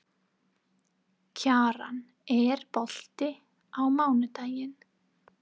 Kjaran, er bolti á mánudaginn?